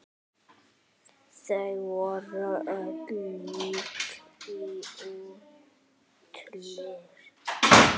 Þau voru ólík í útliti.